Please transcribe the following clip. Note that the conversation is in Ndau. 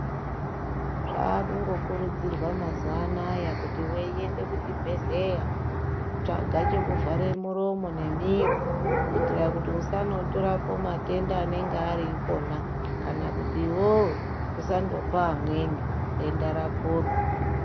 Zvakungo kurudzirwa mazuva anaya kuti weyi ende ku chibhedhleya tsvaga cheku zvara muromo ne miro kuitira kuti usano torapo matenda anenge ari ikona kana kuti iwewe usandopa amweni denda rako ro.